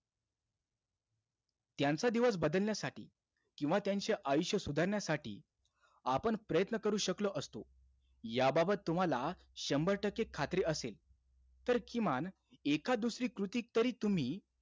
त्यांचा दिवस बदलण्यासाठी किंवा त्यांचे आयुष्य सुधारण्यासाठी आपण प्रयत्न करू शकलो असतो. याबाबत तुम्हाला शंभर टक्के खात्री असेल, तर किमान एखाद दुसरी कृती तरी तुम्ही,